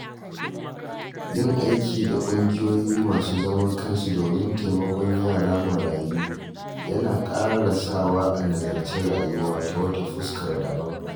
Yin aiki da ƙungiyoyi masu zaman kansu domin taimakon yara marayu yana ƙara sawa a nazarci rayuwa ta wata fuskar daban.